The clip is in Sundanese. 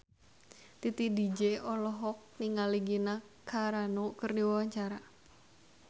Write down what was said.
Titi DJ olohok ningali Gina Carano keur diwawancara